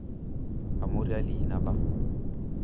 a mo rea leina la